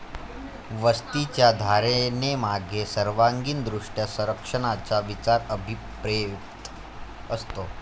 वस्तीच्या धारणेमागे सर्वांगीण दृष्ट्या संरक्षणाचा विचार अभिप्रेत असतो.